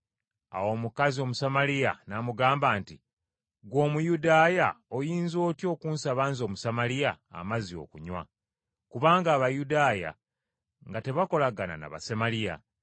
Awo omukazi Omusamaliya n’amugamba nti, “Ggwe Omuyudaaya oyinza otya okusaba nze Omusamaliya amazzi okunywa?” Kubanga Abayudaaya nga tebakolagana na Basamaliya.